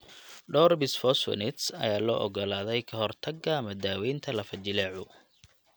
Dhowr bisfosphonates ayaa loo oggolaaday ka hortagga ama daaweynta lafo-jileecu.